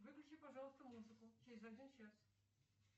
выключи пожалуйста музыку через один час